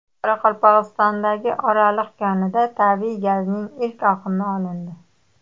Qoraqalpog‘istondagi Oraliq konida tabiiy gazning ilk oqimi olindi.